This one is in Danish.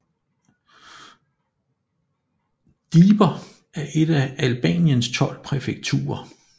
Dibër er et af Albaniens tolv præfekturer